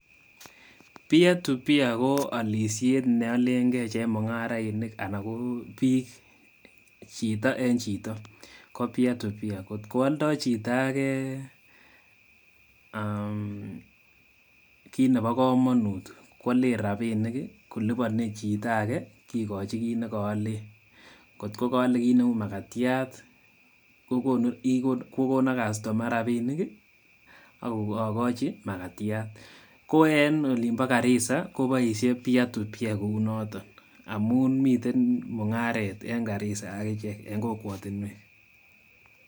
Peer to peer ko alishet ne alengei chemungarainik anan ko bik chito eng chito ko peer to peer kot ko aldoi chito age kit nebo kamanut koale rabiinik koliponi chito age kikochin kit nekoole kot kaolei kit neu makatiat ko kono customer rabiinik akochi makatiat ko en olimbo karisa koboishe peer to peer kou noton amu miten mungaret eng karisa akichek eng kokwotunwek.